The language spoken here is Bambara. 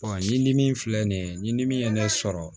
ɲimi filɛ nin ye ɲidimi ye ne sɔrɔ